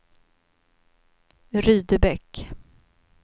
Rydebäck